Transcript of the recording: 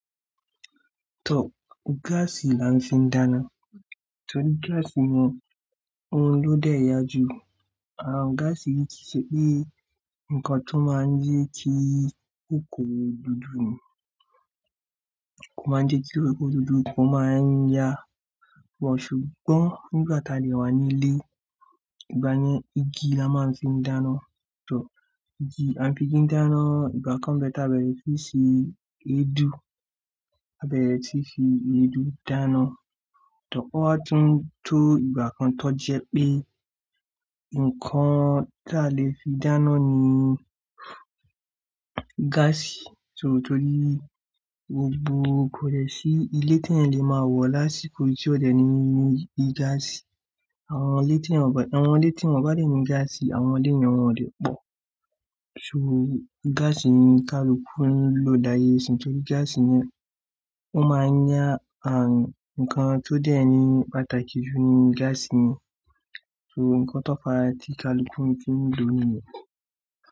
Tọ, gaasi là ń fi dáná torí gaasi ni, òun ló dẹ̀ yá jù. Àwọn gaasi tìí ṣe pé nǹkan tó máa n jẹ́ kí ikoko dúdú ni, kó máa n jẹ́ kí ikoko dúdú, ó máa n yá. Ṣùgbọ́n nígbà tá dè wà nílé, ìgbà yẹn igi là má ń fi dáná. Tọ́ igi, a n fi igi dáná, ìgbà kan bẹ́ tá bẹ̀rẹ̀ sí ṣe èédú, a bẹ̀rẹ̀ sí fi èédú dáná. Tọ́ ó wá tún tó ìgbà kan tọ́ jẹ́ pé nǹkan tá lè fi dáná ni gaasi. So torí gbogbo kòdẹ́ sí ilé tí ẹ́yàn le máa wọ̀ lásìkò yì tí ó dẹ̀ ní gaasi. Àwọn ilé tí wọn bá, àwọn ilé tí wọn bá dà ní gaasi, àwọn ilé yẹn wọn ò lè pọ̀. So gaasi ni kaluku ń lò làyè ìsín torí gaasi yẹn ò máa n yá. And, nǹkan tó dẹ́ ẹ́ ni pàtàkì jù ni gaasi ni. So nǹkan tó fa tí kaluku fi n lò nìyẹn.